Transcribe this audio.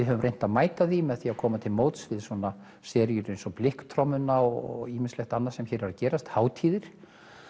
höfum reynt að mæta því með því að koma til móts við seríur eins og Blikktrommuna og ýmislegt annað sem hér er að gerast hátíðir